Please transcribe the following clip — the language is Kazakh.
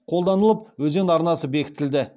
қолданылып өзен арнасы бекітілді